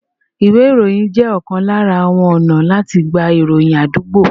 Ìwé ìròyìn jẹ́ ọ̀kan lára àwọn ọ̀nà láti gba ìròyìn àdúgbò